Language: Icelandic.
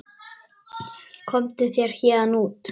Komdu þér héðan út.